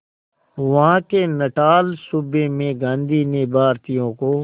वहां के नटाल सूबे में गांधी ने भारतीयों को